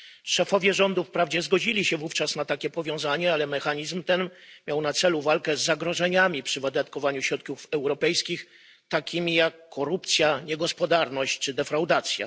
Szefowie rządów wprawdzie zgodzili się wówczas na takie powiązanie, ale mechanizm ten miał na celu walkę z zagrożeniami przy wydatkowaniu środków europejskich, takimi jak korupcja, niegospodarność czy defraudacja.